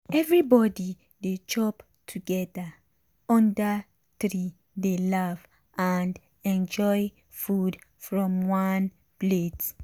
everybody dey chop together under tree dey laugh and enjoy food from one plate.